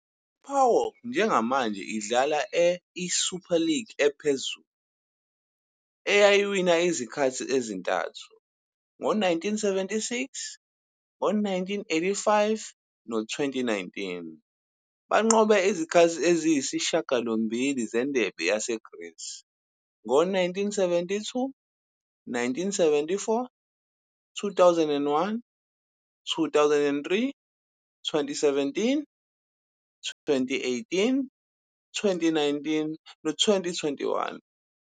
I-PAOK njengamanje idlala e-I-Super League ephezulu, eye yawina izikhathi ezintathu, ngo-1976, ngo-1985 no-2019. Banqobe izikhathi eziyisishiyagalombili zeNdebe yaseGreece, ngo-1972, 1974, 2001, 2003, 2017, 2018, 2019 no-2021.